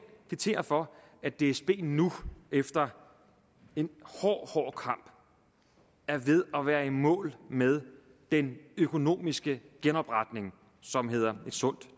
kvittere for at dsb nu efter en hård hård kamp er ved at være i mål med den økonomiske genopretning som hedder et sundt